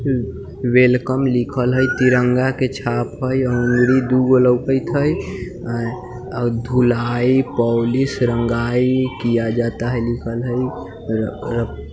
welcome लिखल हई तिरंगा के छाप हई अंगूरी दुगो लउकइत हई और धुलाई पोलिश रंगाई किया जाता है लिखल हई--